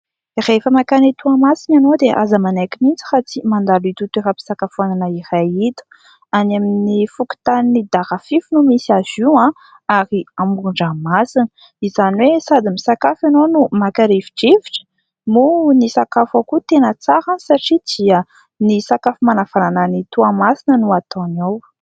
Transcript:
Rehefa makany Toamasina ianao dia aza manaiky mihitsy raha tsy mandalo ito toeram-pisakafoana iray ito; any amin'ny fokotanin'ny Darafify no misy azy io ary amoron-dranomasina, izany hoe sady misakafo ianao no maka rivo-drivotra; moa ny sakafo ao koa tena tsara satria dia ny sakafo manavanana an'i Toamasina no ataony ao.